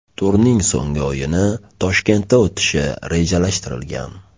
Turning so‘nggi o‘yini Toshkentda o‘tishi rejalashtirilgan.